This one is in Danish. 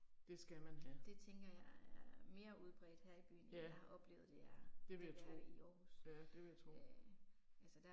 Det skal man have. Ja. Det vil jeg tro. Ja det vil jeg tro